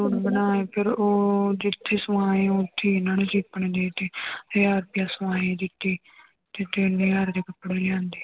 ਬਣਾਏ ਫਿਰ ਉਹ ਜਿੱਥੇ ਸਮਾਏ ਉੱਥੇ ਹੀ ਇਹਨਾਂ ਨੇ ਆਪਣੇ ਦੇ ਦਿੱਤੇ ਹਜ਼ਾਰ ਰੁਪਈਆ ਸਮਾਈ ਦਿੱਤੀ ਤੇ ਤਿੰਨ ਹਜ਼ਾਰ ਦੇ ਕੱਪੜੇ ਲਿਆਂਦੇ।